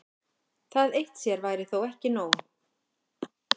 Það eitt sér væri þó ekki nóg.